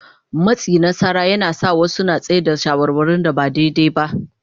Matsi na tsara yana sa wasu su tsai da shawarwarin da ba daidai ba.